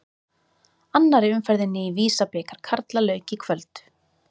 Annarri umferðinni í Visa-bikar karla lauk í kvöld.